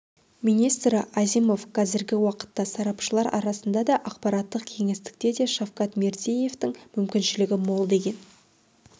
министрі азимов қазіргі уақытта сарапшылар арасында да ақпараттық кеңістікте де шавкат мирзиеевтің мүмкіншілігі мол деген